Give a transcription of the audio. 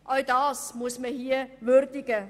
Auch das muss man hier würdigen.